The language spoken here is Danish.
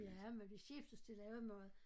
Ja men vi skiftes til lave mad